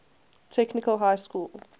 technical high school